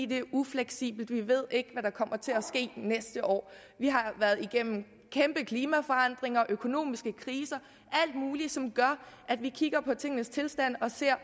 det er ufleksibelt vi ved ikke hvad der kommer til at ske næste år vi har været igennem kæmpe klimaforandringer økonomiske kriser alt muligt som gør at vi kigger på tingenes tilstand og ser